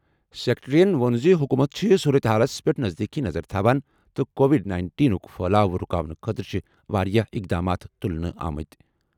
سکریٹریَن ووٚن زِ حکوٗمت چھِ صورتہِ حالَس پٮ۪ٹھ نزدیٖکی نظر تھاوان تہٕ کووِڈ نَیِنٹین ہُک پھیلاؤ رُکاونہٕ خٲطرٕ چھِ واریاہ اِقدامات تُلنہٕ آمٕتۍ.